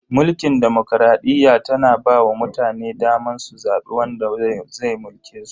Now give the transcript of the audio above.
Mulkin demokradiyya tana ba wa mutane daman su zabi wanda zai mulke su.